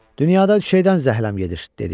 Dünyada bir şeydən zəhləm gedir, dedi.